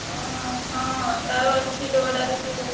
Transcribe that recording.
ଓହୋ ହଁ ତାର ଅଛି ଦୌଡା ରେ ସିଏ।